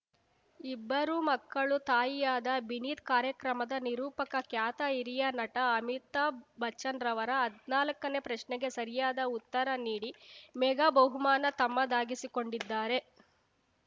ಇಬ್ಬರು ಮಕ್ಕಳು ತಾಯಿಯಾದ ಬಿನೀತ್ ಕಾರ್ಯಕ್ರಮದ ನಿರೂಪಕ ಖ್ಯಾತ ಹಿರಿಯ ನಟ ಅಮಿತಾಭ್‌ ಬಚ್ಚನ್‌ರವರ ಹದ್ನಾಲ್ಕನೇ ಪ್ರಶ್ನೆಗೆ ಸರಿಯಾದ ಉತ್ತರ ನೀಡಿ ಮೆಗಾ ಬಹುಮಾನ ತಮ್ಮದಾಗಿಸಿಕೊಂಡಿದ್ದಾರೆ